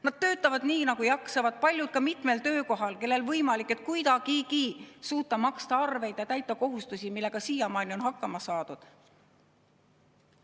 Nad töötavad nii, nagu jaksavad, paljud ka mitmel töökohal, kellel on see võimalik, et kuidagigi suuta maksta arveid ja täita kohustusi, millega siiamaani on hakkama saadud.